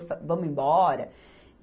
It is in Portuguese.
Vamos embora.